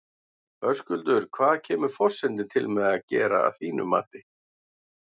Höskuldur, hvað kemur forsetinn til með að gera að þínu mati?